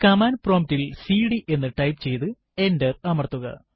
command prompt ൽ CD എന്ന് type ചെയ്തു എന്റർ അമർത്തുക